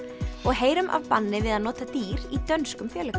og heyrum af banni við að nota dýr í dönskum